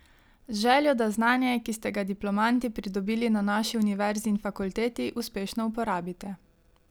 Z željo, da znanje, ki ste ga diplomanti pridobili na naši univerzi in fakulteti, uspešno uporabite.